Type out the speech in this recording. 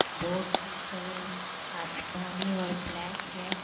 Boat का colour आसमानी और ब्लैक है।